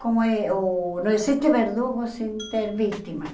Com e o... Não existe verdugo sem ter vítima.